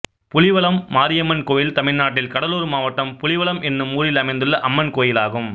புலிவலம் மாரியம்மன் கோயில் தமிழ்நாட்டில் கடலூர் மாவட்டம் புலிவலம் என்னும் ஊரில் அமைந்துள்ள அம்மன் கோயிலாகும்